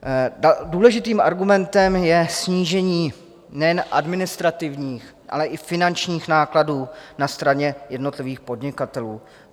Důležitým argumentem je snížení nejen administrativních, ale i finančních nákladů na straně jednotlivých podnikatelů.